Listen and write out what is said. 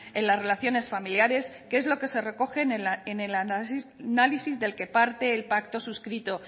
en las relaciones familiares que es lo que se recoge en el análisis del que parte el pacto suscrito